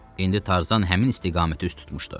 İndi Tarzan həmin istiqaməti üst tutmuşdu.